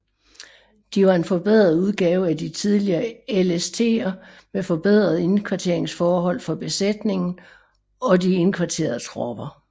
De var en forbedret udgave af de tidligere LSTer med forbedrede indkvarteringsforhold for besætningen og og de indkvarterede tropper